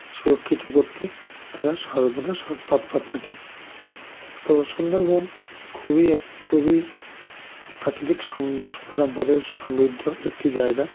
শুরক্ষীত করতে তারা সর্বদা স্ স্তৎপর থাকেন তো সুন্দরবন খুবই এক খুবই প্রাকৃতিক সমম সম্পদের সমৃদ্ধ একটি জায়েগা